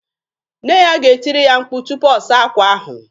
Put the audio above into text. Nne ya ga-etiri ya mkpu tupu ọ saa akwa ahụ.